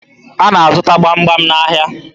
A na-azụ gbamgbam n'ahịa